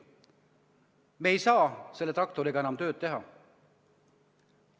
Me ei saa selle traktoriga enam tööd teha.